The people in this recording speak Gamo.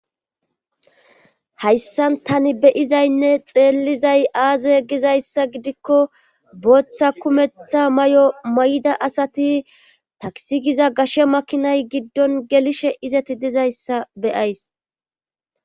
Hayssan tani beyizaynne xeellizay aaze yegizayssa gidikko booththa kumeththa may'o may'da asati taksigiza gashe makinay giddon gelishe izati dizayssa beyays